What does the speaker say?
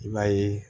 I b'a ye